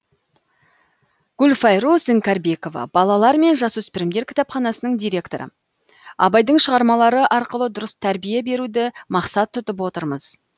гүлфайруз іңкәрбекова балалар мен жасөспірімдер кітапханасының директоры абайдың шығармалары арқылы дұрыс тәрбие беруді мақсат тұтып отырмыз